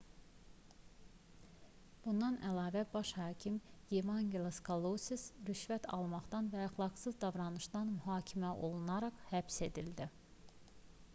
bundan əlavə baş hakim evangelos kalousis rüşvət almaqdan və əxlaqsız davranışdan mühakimə olunaraq həbs edildi